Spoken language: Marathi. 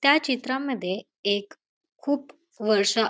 त्या चित्रामध्ये एक खूप वर्ष--